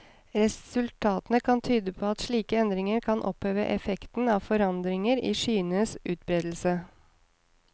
Resultatene kan tyde på at slike endringer kan oppheve effekten av forandringer i skyenes utbredelse.